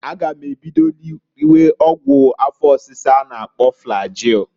A ga m ebido riwe ọgwụ afọ ọsisa a na- akpọ flagil.